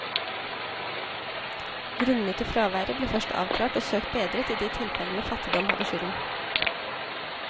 Grunnene til fraværet ble først avklart, og søkt bedret i de tilfellene fattigdom hadde skylden.